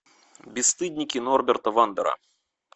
бесстыдники норберта вандера